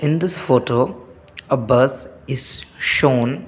in this photo a bus is shown.